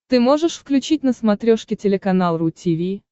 ты можешь включить на смотрешке телеканал ру ти ви